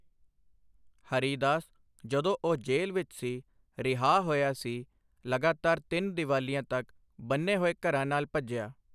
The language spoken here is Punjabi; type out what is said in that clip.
ਹਰੀਦਾਸ, ਜਦੋਂ ਉਹ ਜੇਲ੍ਹ ਵਿੱਚ ਸੀ, ਰਿਹਾਅ ਹੋਇਆ ਸੀ, ਲਗਾਤਾਰ ਤਿੰਨ ਦੀਵਾਲੀਆਂ ਤੱਕ ਬੰਨ੍ਹੇ ਹੋਏ ਘਰਾਂ ਨਾਲ ਭੱਜਿਆ।